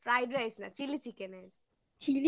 Fried rice না chili chicken এর